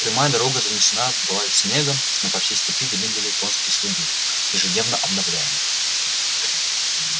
прямая дорога занесена была снегом но по всей степи видны были конские следы ежедневно обновляемые